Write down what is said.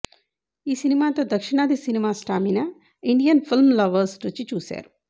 ఈ సినిమాతో దక్షిణాది cinema stamina Indian film lovers రుచి చూసారు